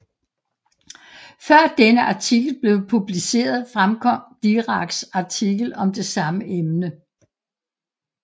Før denne artikel blev publiceret fremkom Diracs artikel om det samme emne